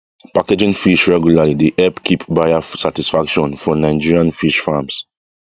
packaging fish regularly dey help keep buyer satisfaction for nigerian fish farms